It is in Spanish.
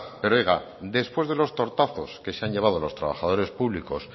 pero oiga después de los tortazos que se han llevado los trabajadores públicos